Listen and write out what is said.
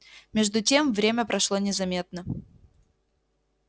между тем время прошло незаметно